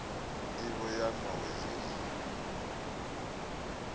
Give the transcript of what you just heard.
ndivho ya n owedzo iyi